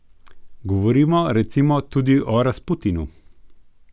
Govorimo, recimo, tudi o Rasputinu.